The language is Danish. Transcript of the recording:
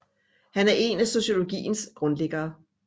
Han er en af sociologiens grundlæggere